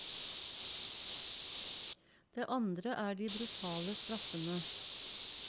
Det andre er de brutale straffene.